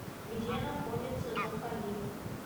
где находится заходи